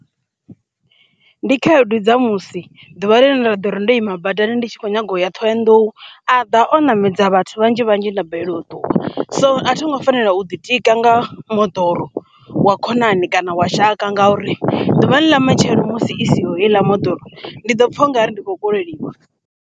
Ndi khaedu dza musi ḓuvha ḽine nda ḓo ri ndo ima badani ndi tshi kho nyaga u ya Ṱhohoyandou a ḓa o ṋamedza vhathu vhanzhi vhanzhi na balelwa u ṱuwa, so a thi ngo fanela u ḓitika nga moḓoro wa khonani kana wa shaka ngauri ḓuvhani ḽa matshelo musi i si heiḽa moḓoro ndi ḓo pfa ungari ndi khou koleliwa.